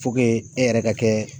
e yɛrɛ ka kɛ